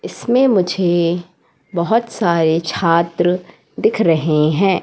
इसमें मुझे बहोत सारे छात्र दिख रहे हैं।